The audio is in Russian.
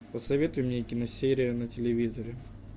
посоветуй мне киносерия на телевизоре